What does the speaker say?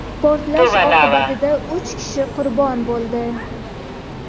Portlash oqibatida uch kishi qurbon bo‘ldi.